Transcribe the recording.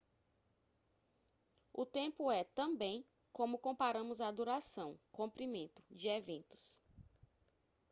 o tempo é também como comparamos a duração comprimento de eventos